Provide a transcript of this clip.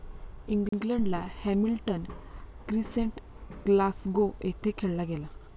इंग्लंडला Hamilton Crescent, Glasgow येथे खेळला गेला.